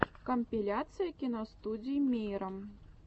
компиляция киностудии мейрам